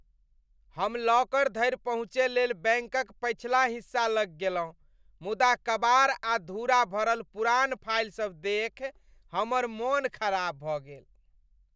हम लॉकर धरि पहुँचय लेल बैंकक पछिला हिस्सा लग गेलहुँ, मुदा कबाड़ आ धूरा भरल पुरान फाइलसभ देखि हमर मन खराप भऽ गेल।